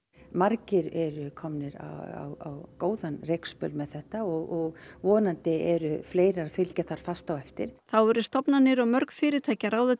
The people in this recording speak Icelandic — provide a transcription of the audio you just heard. margir eru komnir á góðan rekspöl með þetta og vonandi eru fleiri að fylgja þar fast á eftir þá eru stofnanir og mörg fyrirtæki að ráða til